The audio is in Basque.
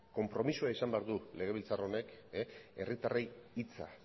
konpromisoa izan behar du legebiltzar honek herritarrei hitza